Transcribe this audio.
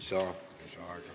Lisaaega ei saa.